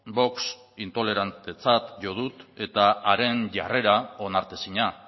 vox intolerantetzat jo dut eta haren jarrera onartezina